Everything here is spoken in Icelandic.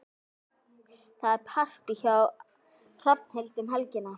Það er partí hjá Hrafnhildi um helgina.